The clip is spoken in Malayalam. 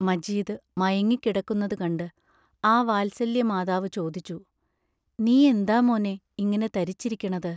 മജീദ് മയങ്ങിക്കിടക്കുന്നതു കണ്ട് ആ വാത്സല്യമാതാവു ചോദിച്ചു: നീ എന്താ മോനേ, ഇങ്ങനെ തരിച്ചിരിക്കണത്?